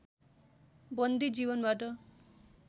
बन्दी जीवनबाट